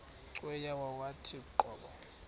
cweya yawathi qobo